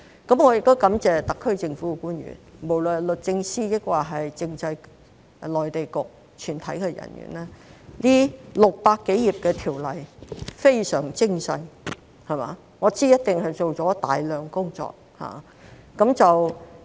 我亦感謝特區政府官員，無論是律政司或政制及內地事務局全體人員，這600多頁的《條例草案》非常精細，我知道一定做了大量工作。